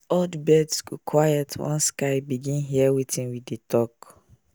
all the birds go quiet once sky begin hear wetin we dey talk.